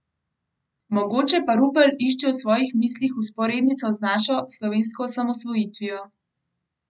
Mogoče pa Rupel išče v svojih mislih vzporednico z našo, slovensko osamosvojitvijo.